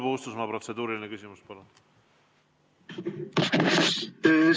Paul Puustusmaa, protseduuriline küsimus, palun!